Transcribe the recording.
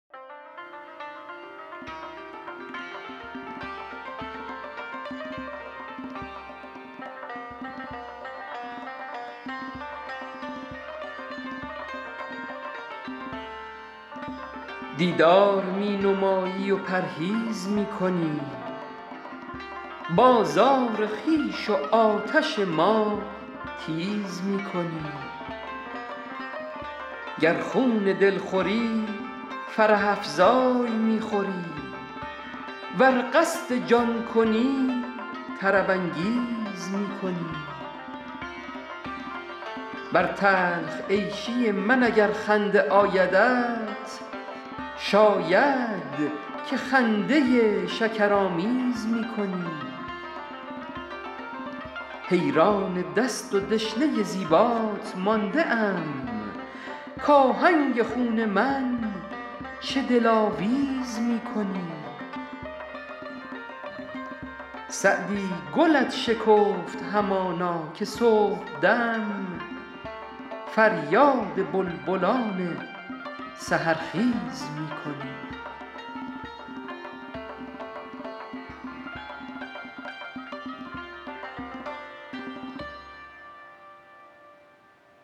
دیدار می نمایی و پرهیز می کنی بازار خویش و آتش ما تیز می کنی گر خون دل خوری فرح افزای می خوری ور قصد جان کنی طرب انگیز می کنی بر تلخ عیشی من اگر خنده آیدت شاید که خنده شکرآمیز می کنی حیران دست و دشنه زیبات مانده ام کآهنگ خون من چه دلاویز می کنی سعدی گلت شکفت همانا که صبحدم فریاد بلبلان سحرخیز می کنی